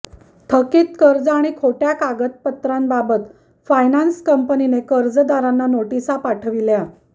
थकीत कर्ज आणि खोट्या कागदपत्रांबाबत फायनान्स कंपनीने कर्जदारांना नोटिसा पाठविल्या